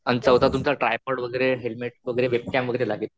अन चौथा तुमचा ट्रायपोड़हेल्मेट वगैरे, वेबकॅम वगैरे लागेल.